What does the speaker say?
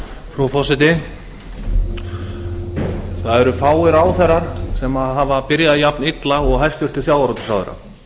frú forseti það eru fáir ráðherrar sem hafa byrjað jafnilla og hæstvirtur sjávarútvegsráðherra